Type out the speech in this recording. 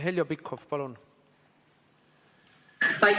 Heljo Pikhof, palun!